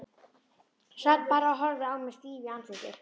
Sat bara og horfði á mig stíf í andliti.